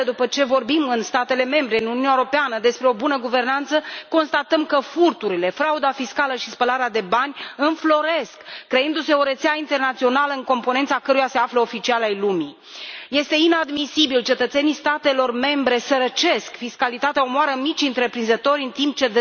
Și, iată, după ce vorbim în statele membre, în Uniunea Europeană despre o bună guvernanță, constatăm că furturile, frauda fiscală și spălarea de bani înfloresc, creându se o rețea internațională în componența căreia se află oficiali ai lumii. Este inadmisibil, cetățenii statelor membre sărăcesc, fiscalitatea omoară micii întreprinzători în timp ce